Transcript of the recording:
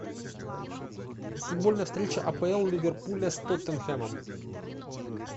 футбольная встреча апл ливерпуля с тоттенхэмом